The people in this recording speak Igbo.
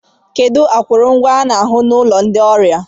kedu akụrụngwa a ga-ahu na ụlọ ndị ọrịa